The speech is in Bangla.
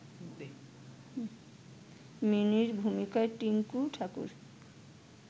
মিনির ভূমিকায় টিংকু ঠাকুর